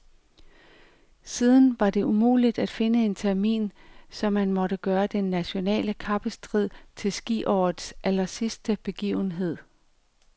Siden var det umuligt at finde en termin, så man måtte gøre den nationale kappestrid til skiårets allersidste begivenhed.